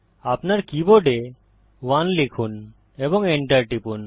আপনার কীবোর্ডে 1 লিখুন এবং enter টিপুন